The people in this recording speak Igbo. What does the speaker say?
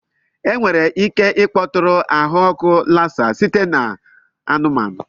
Enwere ike ịkpọtụrụ ahụ ọkụ Lassa site na anụmanụ.